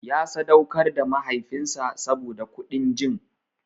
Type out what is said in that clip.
Ya sadaukar da mahaifinsa saboda kuɗin jin.